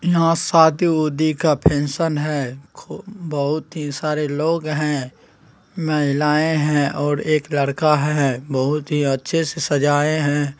यहाँ शादी-उदी का फंक्शन है| बहुत ही सारे लोग हैं महिलाये हैं और एक लड़का है बहुत ही अच्छे से सजाये हैं।